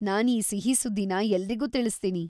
ನಾನ್ ಈ ಸಿಹಿ ಸುದ್ದಿನ ಎಲ್ರಿಗೂ ತಿಳಿಸ್ತೀನಿ!